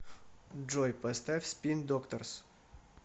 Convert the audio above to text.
джой поставь спин докторс